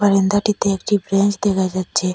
বারান্দাটিতে একটি ব্রেঞ্চ দেখা যাচ্ছে।